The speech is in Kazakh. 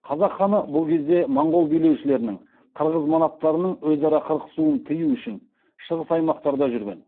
қазақ ханы бұл кезде моңғол билеушілерінің қырғыз манаптарының өзара қырқысуын тыю үшін шығыс аймақтарда жүрген